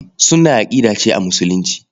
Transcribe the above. Sunnah aƙida ce a Musulunci.